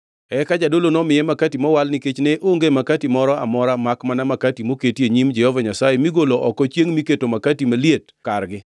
Eka jadolo nomiye makati mowal nikech ne onge makati moro amora makmana makati moket e Nyim Jehova Nyasaye migolo oko chiengʼ miketo makati maliet kargi.